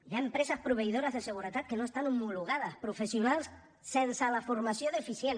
hi ha empreses proveïdores de seguretat que no estan homologades professionals sense la formació suficient